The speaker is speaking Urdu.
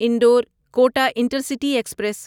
Indore Kota intercity express